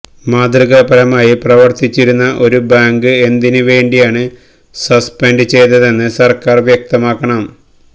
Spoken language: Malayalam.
മാതൃകാപരമായി പ്രവര്ത്തിച്ചിരുന്ന ഒരു ബാങ്ക് എന്തിന് വേണ്ടിയാണ് സസ്പെന്റ് ചെയ്തതെന്ന് സര്ക്കാര് വ്യക്തമാക്കണം